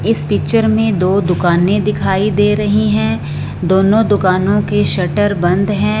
इस पिक्चर में दो दुकानें दिखाई दे रही हैं दोनों दुकानों के शटर बंद हैं।